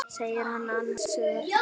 segir hann annars hugar.